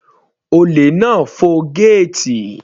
Olè náà fọ gẹ́ẹ̀tì.